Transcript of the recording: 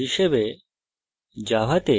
এই tutorial নির্দেশিত কাজ হিসাবে